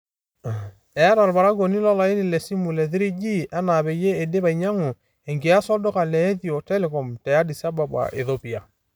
Eeta olparakuoni o laini le simu le 3G enaa peyie eidip ainyiangu enkias to lduka le Ethio-Telcom te Addis Ababa, Ethiopia.